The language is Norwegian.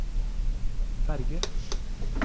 ferge